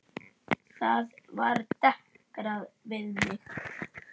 Þar var dekrað við mig.